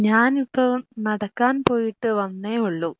ഞാനിപ്പോ നടക്കാൻ പോയിട്ട് വന്നേയുള്ളു